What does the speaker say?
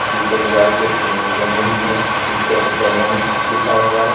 पीछे दीवार पे एक सीनरी बनी हुई है जिस पे इटालियन लिखा हुआ है।